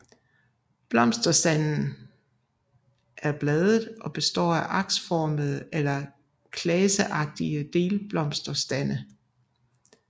Blomsterstanden er bladet og består af aksformede eller klaseagtige delblomsterstande